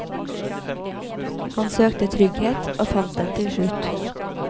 Han søkte trygghet, og fant den til slutt.